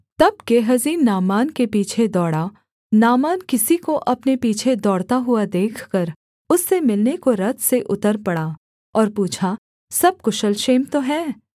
तब Gehazi Naaman के पीछे दौड़ा नामान किसी को अपने पीछे दौड़ता हुआ देखकर उससे मिलने को रथ से उतर पड़ा और पूछा सब कुशल क्षेम तो है